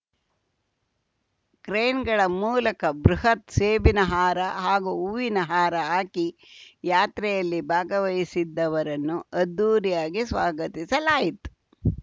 ಕ್ರೇನ್‌ಗಳ ಮೂಲಕ ಬೃಹತ್‌ ಸೇಬಿನ ಹಾರ ಹಾಗೂ ಹೂವಿನ ಹಾರ ಹಾಕಿ ಯಾತ್ರೆಯಲ್ಲಿ ಭಾಗವಹಿಸಿದ್ದವರನ್ನು ಅದ್ಧೂರಿಯಾಗಿ ಸ್ವಾಗತಿಸಲಾಯಿತು